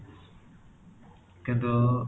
କିନ୍ତୁ